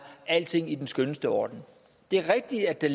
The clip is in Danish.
alting i den skønneste orden det er rigtigt at der